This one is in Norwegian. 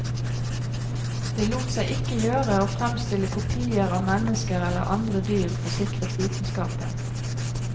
Det lot seg ikke gjøre å fremstille kopier av mennesker eller andre dyr, forsikret vitenskapen.